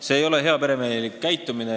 See ei ole heaperemehelik käitumine.